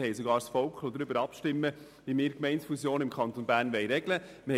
Wir liessen sogar das Volk darüber abstimmen, wie wir Gemeindefusionen im Kanton Bern regeln wollen.